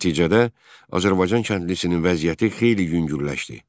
Nəticədə Azərbaycan kəndlisinin vəziyyəti xeyli yüngülləşdi.